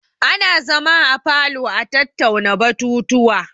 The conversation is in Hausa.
Ana zama a falo a tattauna batutuwa.